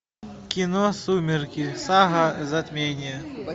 кино сумерки сага затмение